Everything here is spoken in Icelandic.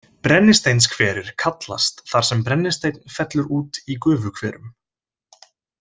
Brennisteinshverir kallast þar sem brennisteinn fellur út í gufuhverum.